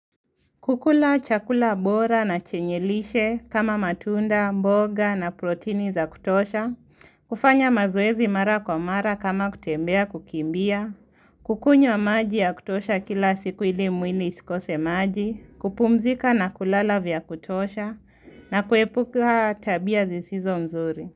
Kukula chakula bora na chenye lishe kama matunda, mboga na protini za kutosha, kufanya mazoezi mara kwa mara kama kutembea kukimbia, kukunywa maji ya kutosha kila siku ili mwili isikose maji, kupumzika na kulala vya kutosha, na kuepuka tabia zisizo mzuri.